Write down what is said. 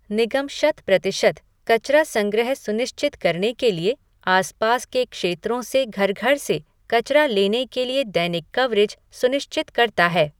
निगम शतप्रतिशत कचरा संग्रह सुनिश्चित करने के लिए आसपास के क्षेत्रों से घर घर से कचरा लेने के लिए दैनिक कवरेज सुनिश्चित करता है।